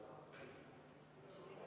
Martin Helme, palun!